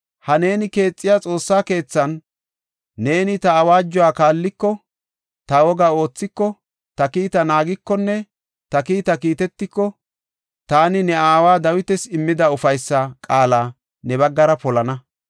“Ha neeni keexiya Xoossa keethan, neeni ta awaajuwa kaalliko, ta wogaa oothiko, ta kiita naagikonne ta kiitaa kiitetiko, taani ne aawa Dawitas immida ufaysa qaala ne baggara polana.